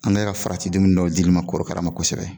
An kɛ ka farati dumuni dɔw dili ma korokara ma kosɛbɛ